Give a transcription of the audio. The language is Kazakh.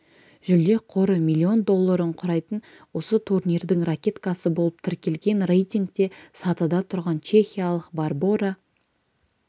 жүлде қоры миллион долларын құрайтын осы турнирдің ракеткасы болып тіркелген рейтингте сатыда тұрған чехиялық барбора